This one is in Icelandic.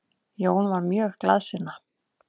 Jón var mjög glaðsinna.